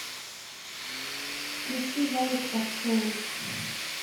включи валик попсовый